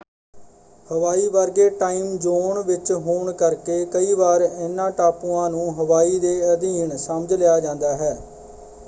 ਹਵਾਈ ਵਰਗੇ time zone ਵਿੱਚ ਹੋਣ ਕਰਕੇ ਕਈ ਵਾਰ ਇਹਨਾਂ ਟਾਪੂਆਂ ਨੂੰ ਹਵਾਈ ਦੇ ਅਧੀਨ” ਸਮਝ ਲਿਆ ਜਾਂਦਾ ਹੈ।